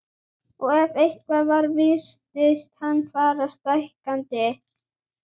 Og ef eitthvað var virtist hann fara stækkandi.